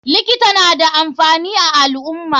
Likita nada amfani a alummah.